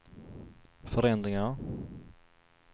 förändringar